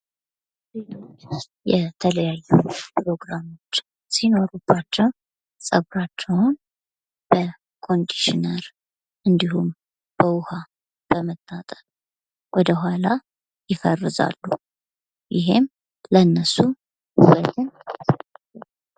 ሴቶች የተለያዩ ፕሮግራሞች ሲኖሩባቸው ጸግራቸውን በኮንዲሽነር እንዲሁም በዉሃ በመታጠብ ወደኋላ የፈርዛሉ።